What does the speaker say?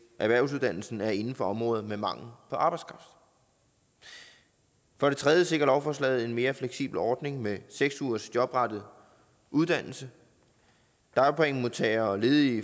erhvervsuddannelsen være inden for områder med mangel på arbejdskraft for det tredje sikrer lovforslaget en mere fleksibel ordning med seks ugers jobrettet uddannelse dagpengemodtagere og ledige